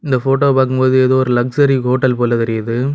இந்த போட்டோவ பாக்கும் போது ஏதோ ஒரு லக்சுரி ஹோட்டல் போல தெரியுது.